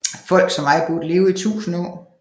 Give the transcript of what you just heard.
Folk som mig burde leve i tusinde år